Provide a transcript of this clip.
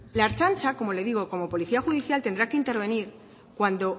la ertzaintza como le digo como policía judicial tendrá que intervenir cuando